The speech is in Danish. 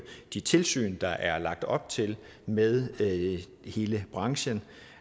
de tilsyn der er lagt op til med hele branchen